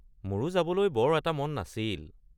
মোৰো যাবলৈ বৰ এটা মন নাছিল।